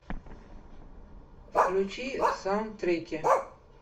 включи саундтреки